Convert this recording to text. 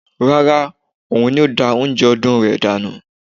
Rárá, òun ni ó da oúnjẹ ọdún rẹ̀ dànù